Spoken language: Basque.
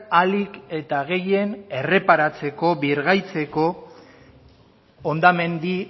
ahalik eta gehien erreparatzeko birgaitzeko hondamendi